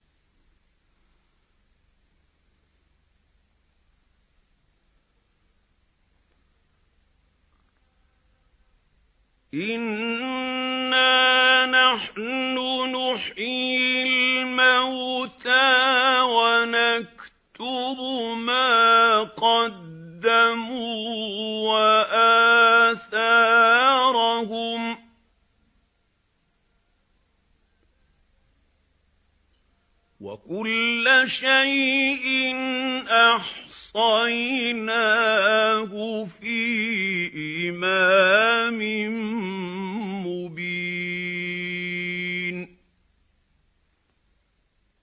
إِنَّا نَحْنُ نُحْيِي الْمَوْتَىٰ وَنَكْتُبُ مَا قَدَّمُوا وَآثَارَهُمْ ۚ وَكُلَّ شَيْءٍ أَحْصَيْنَاهُ فِي إِمَامٍ مُّبِينٍ